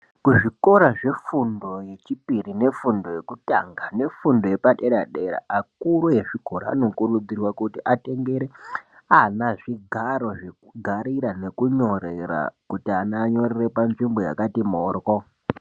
Kuzvikora zvefundo yechipiri nefundo yekutanga nefundo yepadera-dera akuru ezvikora anokurudzirwa kuti atengere ana zvigaro zvekugarira nekunyorera kuti ana anyorere panzvimbo yakati moryo.